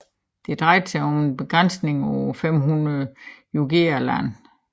Det drejede sig om en begrænsning på 500 jugera land